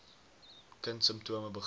kind simptome begin